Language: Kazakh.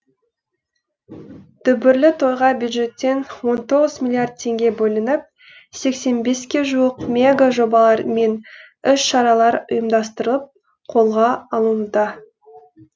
дүбірлі тойға бюджеттен он тоғыз миллиард теңге бөлініп сексен беске жуық мега жобалар мен іс шаралар ұйымдастырылып қолға алынуда